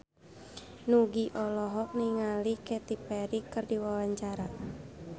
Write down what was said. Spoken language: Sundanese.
Nugie olohok ningali Katy Perry keur diwawancara